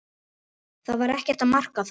Var ekkert að marka það?